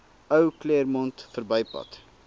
ou claremont verbypad